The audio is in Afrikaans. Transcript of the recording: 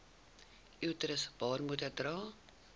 uterus baarmoeder dra